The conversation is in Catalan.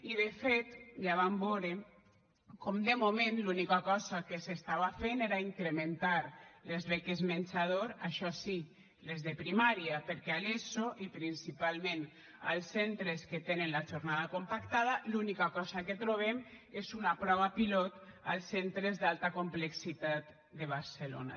i de fet ja vam veure com de moment l’única cosa que s’estava fent era incrementar les beques menjador això sí les de primària perquè a l’eso i principalment als centres que tenen la jornada compactada l’única cosa que trobem és una prova pilot als centres d’alta complexitat de barcelona